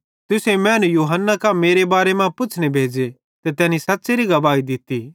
तुसेईं मैनू यूहन्ना कां मेरे बारे मां पुच्छ़ने भेज़े ते तैनी सच़्च़ेरी गवाही दित्तोरीए